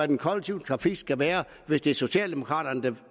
den kollektive trafik skal være hvis det er socialdemokraterne der